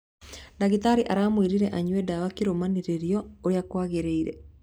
Ndagĩtarĩ aramũririe anyue dawa kĩrũmanĩrĩrio urĩa kwagĩreire